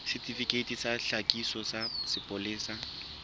setifikeiti sa tlhakiso sa sepolesa